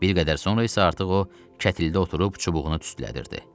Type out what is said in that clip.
Bir qədər sonra isə artıq o kətildə oturub çubuğunu tüstülətdirirdi.